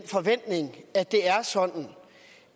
forventning at det er sådan